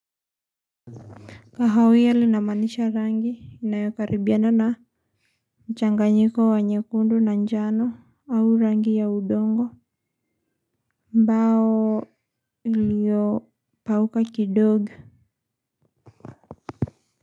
Kahawa namaanisha rangi inayokaribiana na mchanganyiko wa nyekundu na njano au rangi ya udongo ambao iliyopauka kidogo.